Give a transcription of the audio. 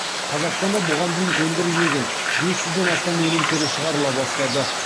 қазақстанда бұған дейін өндірілмеген бес жүзден астам өнім түрі шығарыла бастады